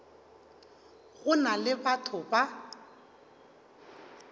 go na le batho ba